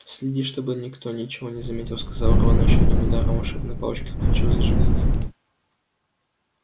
следи чтобы никто ничего не заметил сказал рон и ещё одним ударом волшебной палочки включил зажигание